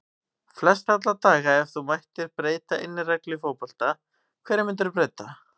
Flest alla daga Ef þú mættir breyta einni reglu í fótbolta, hverju myndir þú breyta?